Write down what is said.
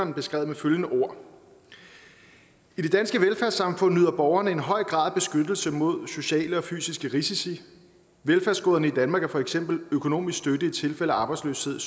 det beskrevet med følgende ord i det danske velfærdssamfund nyder borgerne en høj grad af beskyttelse mod sociale og fysiske risici velfærdsgoderne i danmark er for eksempel økonomisk støtte i tilfælde af arbejdsløshed